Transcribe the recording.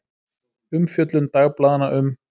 Umfjöllun dagblaðanna um